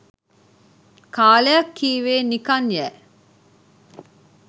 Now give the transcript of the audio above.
කාලයක් කීවේ නිකන් යෑ.